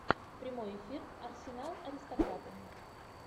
прямой эфир арсенал аристократы